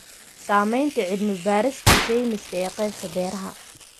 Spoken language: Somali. Saamaynta cilmi-baarista sayniska ee qaybta beeraha.